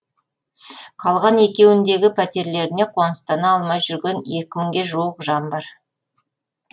қалған екеуіндегі пәтерлеріне қоныстана алмай жүрген екі мыңға жуық жан бар